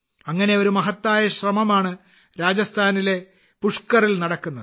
അങ്ങനെയൊരു മഹത്തായ ശ്രമമാണ് രാജസ്ഥാനിലെ പുഷ്കറിൽ നടക്കുന്നത്